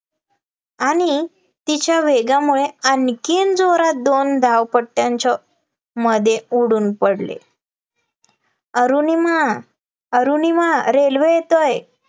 आणि तिच्या वेगामुळे आणखीन जोरात दोन धावपट्ट्यांच्या मध्ये उडून पडले, अरुणिमा अरुणिमा railway येतेय